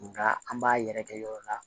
Nka an b'a yɛrɛkɛ yɔrɔ la